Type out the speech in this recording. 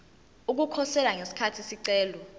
ukukhosela ngesikhathi isicelo